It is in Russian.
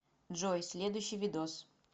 джой следующий видос